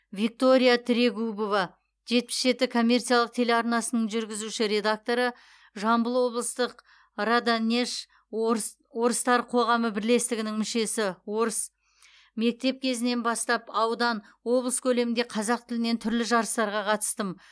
виктория трегубова жетпіс жеті коммерциялық телеарнасының жүргізуші редакторы жамбыл облыстық раданеж орыс орыстар қоғамы бірлестігінің мүшесі орыс мектеп кезінен бастап аудан облыс көлемінде қазақ тілінен түрлі жарыстарға қатыстым